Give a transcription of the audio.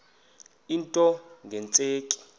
into nge tsheki